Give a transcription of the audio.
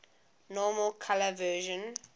normal color vision